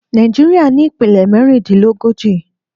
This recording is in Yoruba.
Nàìjíríà ní ìpínlẹ̀ mẹ́rìndínlógójì.